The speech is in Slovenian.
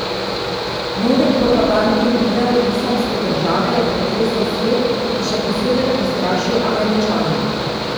Novi propagandni video Islamske države je pretresel svet in še posebej prestrašil Američane.